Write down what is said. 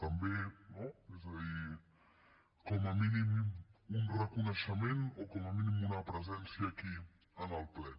també no és a dir com a mínim un reconeixement o com a mínim una presència aquí en el ple